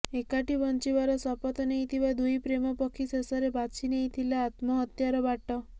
ଏକାଠି ବଂଚିବାର ଶପଥ ନେଇଥିବା ଦୁଇ ପ୍ରେମ ପକ୍ଷୀ ଶେଷରେ ବାଛିନେଇଥିଲେ ଆତ୍ମହତ୍ୟାର ବାଟ